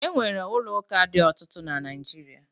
E nwere ụlọ ụka dị ọtụtụ na Naịjirịa